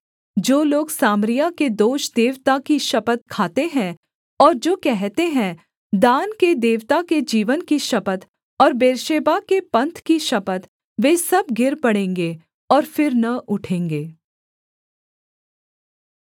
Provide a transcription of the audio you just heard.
जो लोग सामरिया के दोष देवता की शपथ खाते हैं और जो कहते हैं दान के देवता के जीवन की शपथ और बेर्शेबा के पन्थ की शपथ वे सब गिर पड़ेंगे और फिर न उठेंगे